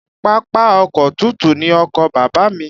Pápá oko tútù ni oko Bàbá mi